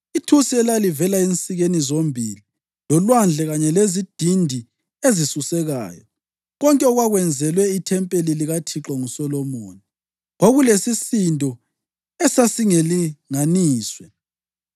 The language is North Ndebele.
Ithusi elalivela ensikeni ezimbili, loLwandle kanye lelezidindi ezisusekayo, konke okwakwenzelwe ithempeli likaThixo nguSolomoni, kwakulesisindo esasingelinganiswe.